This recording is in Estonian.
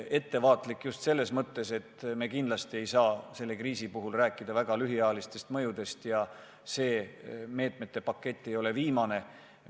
Ettevaatlik just selles mõttes, et me kindlasti ei saa selle kriisi puhul rääkida väga lühiajalistest mõjudest, ja see meetmete pakett ei jää viimaseks.